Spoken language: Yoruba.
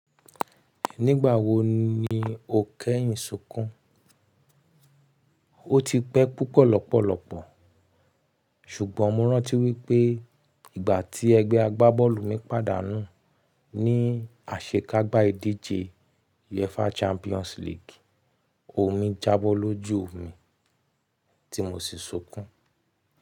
Nígbà wo ni o kẹ́yìn sunkún? O ti pẹ́ púpọ̀ lọ́pọ̀lọ́pọ̀, ṣùgbọ́n mo rántí wípé ìgbà tí ẹgbẹ́ agbábọ́ọ̀lù mi pàdánù ní àṣekágbá ìdíje UEFA Champions League, omi jábọ́ lójú mi tí mo sì sunkún.